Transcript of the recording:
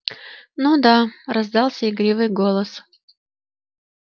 ну да раздался игривый голос